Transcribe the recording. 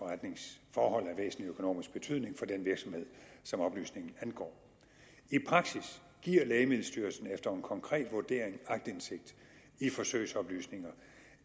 for forretningsforhold af væsentlig økonomisk betydning for den virksomhed som oplysningen angår i praksis giver lægemiddelstyrelsen efter en konkret vurdering aktindsigt i forsøgsoplysninger